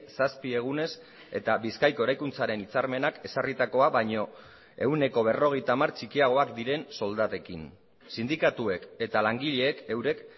zazpi egunez eta bizkaiko eraikuntzaren hitzarmenak ezarritakoa baino ehuneko berrogeita hamar txikiagoak diren soldatekin sindikatuek eta langileek eurek